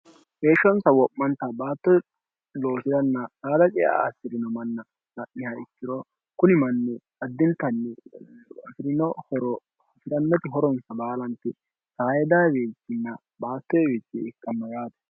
heeshshonsa wo'manta baatto loosi'ranna daala cea assi'rino manna ha'niha ikkiro kuni manni addintanni fi'rino horohfi'rannoti horonsa baalanti sai dawiinna baattoewiici ikkamma yaate